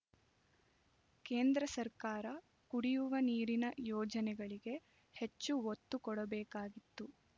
ಕೇಂದ್ರ ಸರ್ಕಾರ ಕುಡಿಯುವ ನೀರಿನ ಯೋಜನೆಗಳಿಗೆ ಹೆಚ್ಚು ಒತ್ತು ಕೊಡಬೇಕಾಗಿತ್ತು